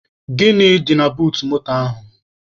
Gịnị dị na buut moto ahụ?